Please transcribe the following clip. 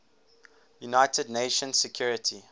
united nations security